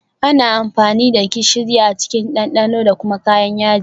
Ana amfani da gishiri a cikin dandano da kuma kayan yaji